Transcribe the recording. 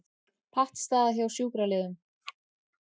Pattstaða hjá sjúkraliðum